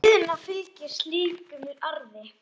Auðna fylgir slíkum arði.